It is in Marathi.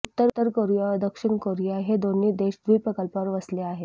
उत्तर कोरिया व दक्षिण कोरिया हे दोन्ही देश या द्वीपकल्पावर वसले आहेत